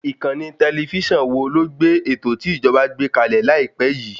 Ìkànnì tẹlifísàn wo ló gbé ètò tí ìjọ̀ba gbé kàlẹ̀ láìpé yìí?